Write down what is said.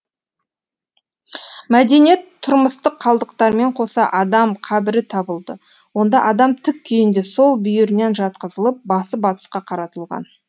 мәдени тұрмыстық қалдықтармен қоса адам қабірі табылды онда адам тік күйінде сол бүйірінен жатқызылып басы батысқа қаратылған